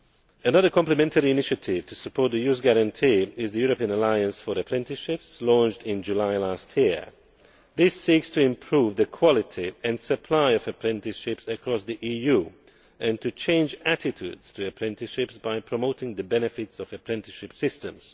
Another complementary initiative to support the Youth Guarantee is the European Alliance for Apprenticeships launched in July last year. This seeks to improve the quality and supply of apprenticeships across the EU and to change attitudes to apprenticeships by promoting the benefits of apprenticeship systems.